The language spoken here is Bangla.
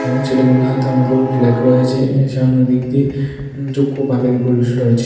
এবং ছেলেগুলোর হাতে অনেকগুলো ফ্ল্যাগ রয়েছে এর সামনের দিক দিয়ে পুরুষ রয়েছে।